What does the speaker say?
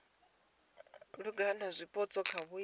langula zwipotso kha vhuimo ha